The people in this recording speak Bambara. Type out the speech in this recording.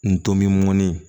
N tomɔnin